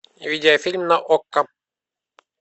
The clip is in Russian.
видеофильм на окко